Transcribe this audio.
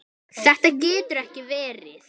Þetta getur ekki verið.